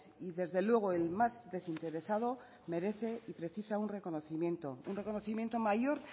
y desde luego el más desinteresado merece y precisa un reconocimiento mayor